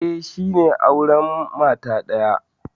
Eh, shi ne aure mata daya.